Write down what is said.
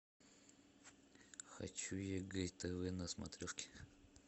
хочу егэ тв на смотрешке